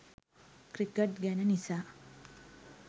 cricket ගැන නිසා